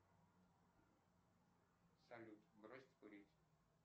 салют бросить курить